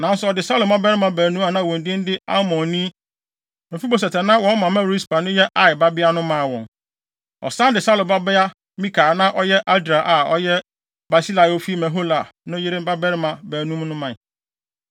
Nanso ɔde Saulo mmabarima baanu a na wɔn din de Armoni ne Mefiboset a na wɔn mama Rispa no yɛ Aia babea no maa wɔn. Ɔsan de Saulo babea Mikal a na ɔyɛ Adriel a na ɔyɛ Barsilai a ofi Mehola no yere mmabarima baanum no mae.